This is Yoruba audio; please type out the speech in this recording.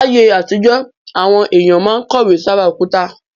Láyé àtijọ́, àwọn èèyàn máa ń kọ̀wé sára òkúta